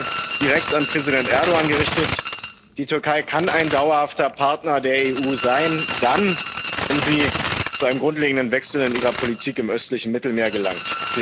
Und nochmal direkt an Präsident Erdoğan gerichtet Die Türkei kann ein dauerhafter Partner der EU sein dann, wenn sie zu einem grundlegenden Wechsel ihrer Politik im östlichen Mittelmeer gelangt.